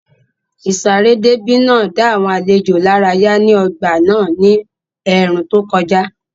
Ìsáré déébì náà ń dá àwọn àlejò lárayá ní ọgbà náà ní ẹ̀ẹ̀rùn tó kọjá